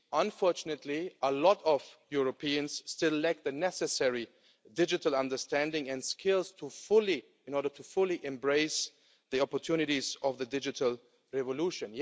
Unfortunately, a lot of Europeans still lack the necessary digital understanding and skills in order to fully embrace the opportunities of the digital revolution.